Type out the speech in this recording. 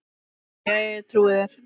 Jæja, ég trúi þér.